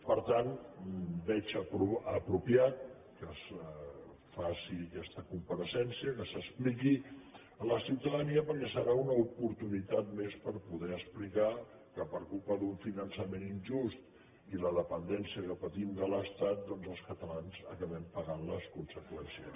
per tant veig apropiat que es faci aquesta compareixença que s’expliqui a la ciutadania perquè serà una oportunitat més per poder explicar que per culpa d’un finançament injust i la dependència que patim de l’estat els catalans n’acabem pagant les conseqüències